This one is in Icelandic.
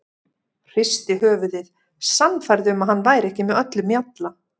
Hristi höfuðið, sannfærð um að hann væri ekki með öllum mjalla.